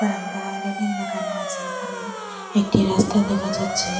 বারান্দায় রেলিং লাগানো আছে এখানে একটি রাস্তা দেখা যাচ্ছে।